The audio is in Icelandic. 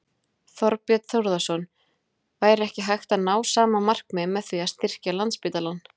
Þorbjörn Þórðarson: Væri ekki hægt að ná sama markmiði með því að styrkja Landspítalann?